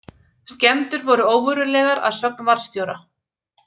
Skemmdir voru óverulegar að sögn varðstjóra